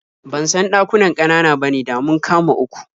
Ban san ɗakunan ƙanana bane, da mun kama uku.